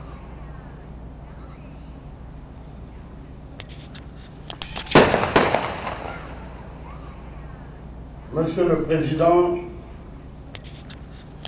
Monsieur le Président, honorables députés, Mesdames, Messieurs, à l'entame de mon propos,